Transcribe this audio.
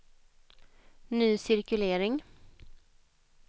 ny cirkulering